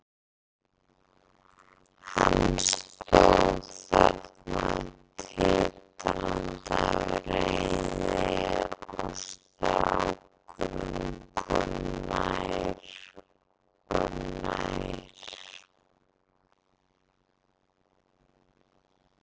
Hann stóð þarna titrandi af reiði og strákurinn kom nær og nær.